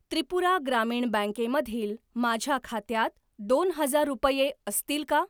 त्रिपुरा ग्रामीण बँके मधील माझ्या खात्यात दोन हजार रुपये असतील का?